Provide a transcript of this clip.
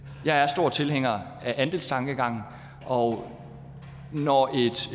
jeg er stor tilhænger af andelstankegangen og når